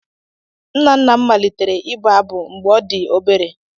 Nna nna m malitere ịbụ abụ mgbe ọ dị obere.